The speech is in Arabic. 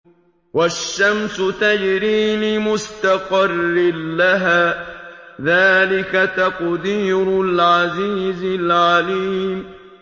وَالشَّمْسُ تَجْرِي لِمُسْتَقَرٍّ لَّهَا ۚ ذَٰلِكَ تَقْدِيرُ الْعَزِيزِ الْعَلِيمِ